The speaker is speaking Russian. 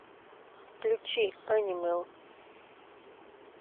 включи энимал